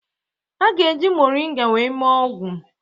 A ga-eji Moringa wee mee ọgwụ